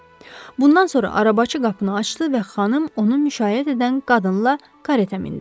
Bundan sonra arabaçı qapını açdı və xanım onu müşayiət edən qadınla karetə mindi.